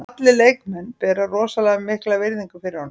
Allir leikmenn bera rosalega mikla virðingu fyrir honum.